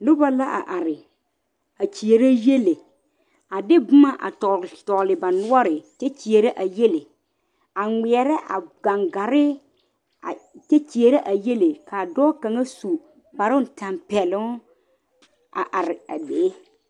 Noba la a are a kyeɛrɛ yiele a de boma a tɔgele tɔgle ba noɔre kyɛ kyeɛrɛ a yiele a ŋmeɛrɛ a gaŋgare a kyeɛrɛ a yiele ka dɔɔ kaŋa su kpare tanpɛloŋ a are a be